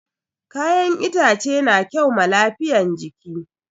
Kayan itace na kyau ma lafiyan jiki